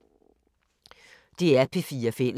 DR P4 Fælles